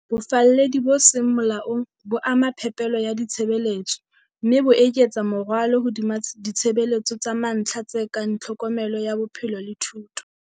Bofalledi bo seng molaong bo ama phepelo ya ditshebeletso, mme bo eketsa morwalo hodima ditshebeletso tsa mantlha tse kang tlhokomelo ya bophelo le thuto.